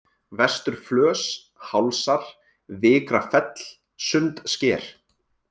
Vesturflös, Hálsar, Vikrafell, Sundsker